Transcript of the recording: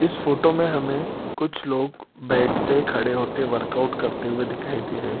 इस फोटो में हमें कुछ लोग बैठ के खड़े होके वर्कआउट करते हुए दिखाई दे रहें हैं।